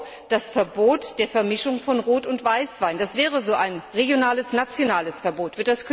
wäre auch das Verbot der Vermischung von Rot und Weißwein so ein regionales nationales Verbot.